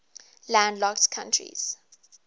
landlocked countries